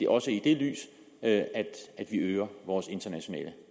også i det lys at vi øger vores internationale